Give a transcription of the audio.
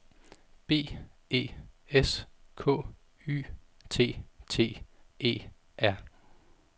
B E S K Y T T E R